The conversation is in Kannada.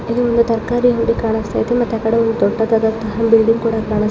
ಇಲ್ಲಿ ಒಂದು ತರಕಾರಿ ಅಂಗಡಿ ಕಾಣುಸ್ತಾಯಿದೆ ಮತ್ ಆ ಕಡೆ ಒಂದ್ ದೊಡ್ಡದಾದಂತಹ ಬಿಲ್ಡಿಂಗ್ ಕೂಡ ಕಾಣುಸ್ತಾಯಿದೆ.